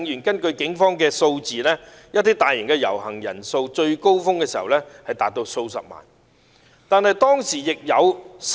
根據警方數字統計，數次大型遊行的人數最高峰時多達數十萬人。